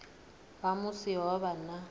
ha musi ho vha na